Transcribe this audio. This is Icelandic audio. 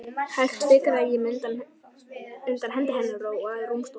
Hægt fikraði ég mig undan hendi hennar og að rúmstokknum.